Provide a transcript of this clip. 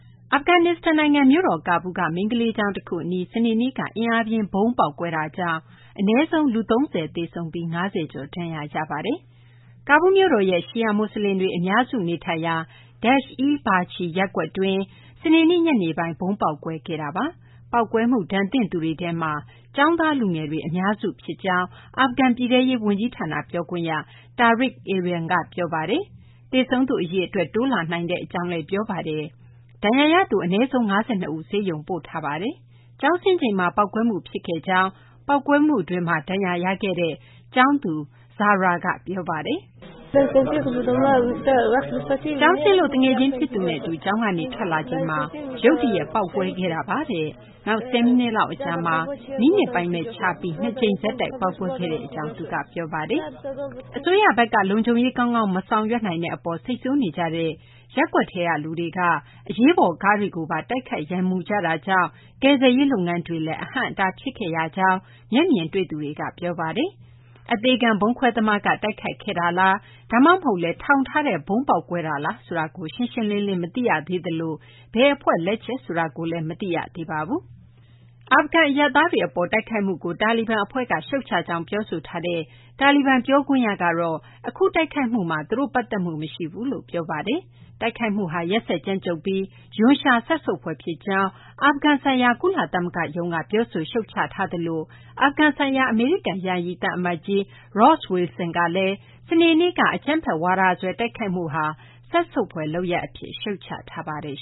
အာဖဂန်နစ္စတန်နိုင်ငံ မြို့တော် ကာဘူးလ်က မိန်းကလေးကျောင်းတခုအနီး စနေနေ့က အင်အားပြင်းဗုံး ပေါက်ကွဲတာကြောင့် အနည်းဆုံး လူ ၃၀ သေဆုံးပြီး ၅၀ ကျော် ဒဏ်ရာရရှိခဲ့ပါတယ်။ ကာဘူးလ်မြို့တော်ရဲ့ ရှီယာမွတ်စလင်တွေ အများစုနေထိုင်ရာ Dasht-e-Barchi ရပ်ကွက်တွင်း စနေနေ့ ညနေပိုင်းမှာ ဗုံးပေါက်ကွဲခဲ့တာပါ။ ပေါက်ကွဲမှု ဒဏ်သင့်သူတွေထဲမှာ ကျောင်းသားလူငယ်တွေ အများစုပါဝင်ကြောင်း အာဖဂန် ပြည်ထဲရေးဝန်ကြီးဌာန ပြောခွင့်ရ Tariq Arian က ပြောပါတယ်။ သေဆုံးသူ အရေအတွက် တိုးလာနိုင်ကြောင်းလည်း ပြောပါတယ်။ ဒဏ်ရာရသူ အနည်းဆုံး ၅၂ ဦးကို ဆေးရုံပို့ထားကြောင်းလည်း ပြောပါတယ်။ ကျောင်းဆင်းချိန်မှာ ပေါက်ကွဲမှုဖြစ်ခဲ့ကြောင်း ပေါက်ကွဲမှုအတွင်း ဒဏ်ရာရခဲ့သူ ကျောင်းသူ Zahra က ပြောပါတယ်။ “ကျောင်းဆင်းလို့ သူငယ်ချင်းဖြစ်သူနဲ့အတူ ကျောင်းကနေ ထွက်လာချိန်မှာ ရုတ်တရက် ပေါက်ကွဲခဲ့တာပါ။ နောက် ဆယ်မိနစ်လောက်အကြာမှာ မိနစ်ပိုင်းခြားပြီး ၂ ကြိမ်ဆက်တိုက် ပေါက်ကွဲခဲ့ကြောင်း” သူက ပြောခဲ့တာပါ။ အစိုးရဘက်က လုံခြုံရေး ကောင်းကောင်း မဆောင်ရွက်နိုင်တဲ့အပေါ် စိတ်ဆိုးနေကြတဲ့ ရပ်ကွက်ထဲက လူတွေက အရေးပေါ်ကားတွေကိုပါ တိုက်ခိုက် ရန်မူကြတာကြောင့် ကယ်ဆယ်ရေးလုပ်ငန်းတွေလည်း အဟန့်အတား ဖြစ်ခဲ့ကြောင်း မျက်မြင်တွေ့သူတွေက ပြောပါတယ်။ အသေခံ ဗုံးခွဲသမားက တိုက်ခိုက်ခဲ့မှုလား၊ ဒါမှမဟုတ်လည်း ထောင်ထားတဲ့ဗုံး ပေါက်ကွဲတာလား ဆိုတာကိုတော့ ရှင်းရှင်းလင်းလင်း မသိရသေးသလို ဘယ်အဖွဲ့ကမှလည်း သူတို့လက်ချက်ဆိုတာကို ဝန်ခံပြောဆိုထားတာ မရှိသေးပါဘူး။ အာဖဂန် အရပ်သားတွေအပေါ် တိုက်ခိုက်မှုကို တာလီဘန်အဖွဲ့က ရှုတ်ချကြောင်း ပြောဆိုတဲ့ တာလီဘန် ပြောခွင့်ရကတော့ အခုတိုက်ခိုက်မှုမှာ သူတို့ ပတ်သက်မှုမရှိကြောင်း ပြောဆိုထားပါတယ်။ အခုတိုက်ခိုက်မှုမှာ ရက်စက်ကြမ်းကြုတ်ပြီး ရွံရှာစက်ဆုပ်ဖွယ်ဖြစ်ကြောင်း အာဖဂန်ဆိုင်ရာ ကုလသမဂ္ဂရုံးက ပြောဆို ရှုတ်ချပါတယ်။ အာဖဂန်ဆိုင်ရာ အမေရိကန် ယာယီသံအမတ်ကြီး Ross Wilson ကလည်း စနေနေ့က အကြမ်းဖက်ဝါဒစွဲ တိုက်ခိုက်မှုဟာ စက်ဆုပ်ဖွယ်လုပ်ရပ်အဖြစ် ရှုတ်ချထားပါတယ်